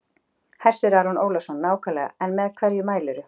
Hersir Aron Ólafsson: Nákvæmlega en með hverju mælirðu?